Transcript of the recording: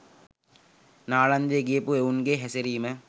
නාලන්දේ ගියපු එවුන්ගේ හැසිරීම?